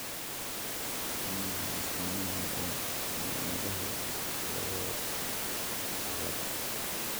Waa maxay astamaha iyo calaamadaha Satoyoshi ciladha?